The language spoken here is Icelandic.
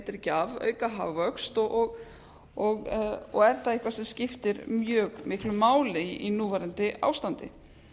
ekki af auka hagvöxt og efnda eitthvað sem skiptir mjög miklu máli í núverandi ástandi